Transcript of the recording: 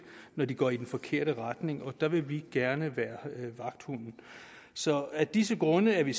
når de går i den forkerte retning og der vil vi gerne være vagthunden så af disse grunde er vi